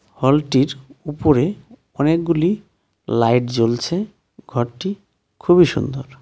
হলটির উপরে অনেকগুলি লাইট জ্বলছে ঘরটি খুবই সুন্দর.